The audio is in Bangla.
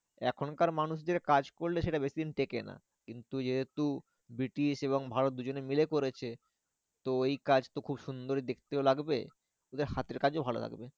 এখনকার মানুষদের কাজ করলে সেটা বেশি দিন টেকে না কিন্তু যেহেতু ব্রিটিশ এবং ভারত দুজনে মিলে করেছে। তো এই কাজ তো খুব সুন্দরই দেখতেও লাগবে। এদের হাতের কাজও ভালো লাগবে।